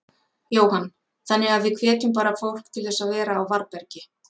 Jóhann: Þannig að við hvetjum bara fólk til þess að vera á varðbergi?